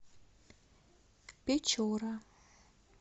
печора